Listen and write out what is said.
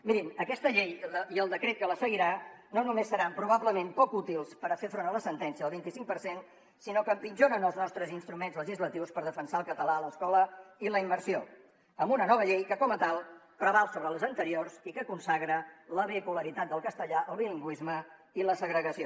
mirin aquesta llei i el decret que la seguirà no només seran probablement poc útils per fer front a la sentència del vint i cinc per cent sinó que empitjoren els nostres instruments legislatius per defensar el català a l’escola i la immersió amb una nova llei que com a tal preval sobre les anteriors i que consagra la bipolaritat del castellà el bilingüisme i la segregació